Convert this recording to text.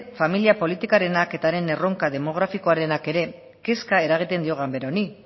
familia politikarenak eta erronka demografikoarenak ere kezka eragiten dio ganbara honi